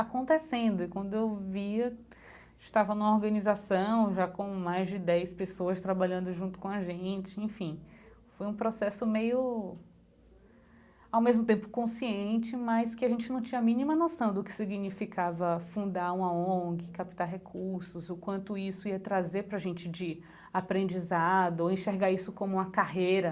Acontecendo e quando eu via, estava numa organização, já com mais de dez pessoas trabalhando junto com a gente, enfim, foi um processo meio, ao mesmo tempo consciente, mas que a gente não tinha a mínima noção do que significava fundar uma ONG, captar recursos, e o quanto isso ia trazer para a gente de aprendizado ou enxergar isso como uma carreira.